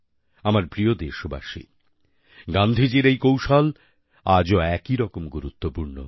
আমার প্রিয় দেশবাসী গান্ধীজীর এক কৌশল আজও একইরকম গুরুত্বপূর্ণ